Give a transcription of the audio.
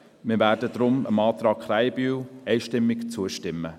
Wir werden deshalb dem Antrag Krähenbühl einstimmig zustimmen.